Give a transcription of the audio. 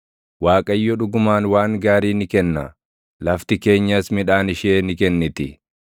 Waaqayyo dhugumaan waan gaarii ni kenna; lafti keenyas midhaan ishee ni kenniti.